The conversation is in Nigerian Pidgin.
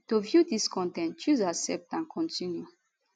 to view dis con ten t choose accept and continue